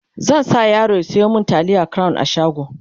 zan sa yaro ya Sayo mini taliyan crown a shago